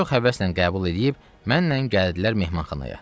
Çox həvəslə qəbul eləyib mənlə gəldilər mehmanxanaya.